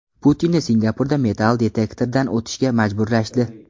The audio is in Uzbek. Putinni Singapurda metall detektordan o‘tishga majburlashdi.